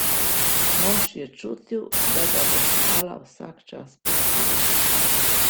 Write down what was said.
Mož je čutil, da ga bo skala vsak čas pustila.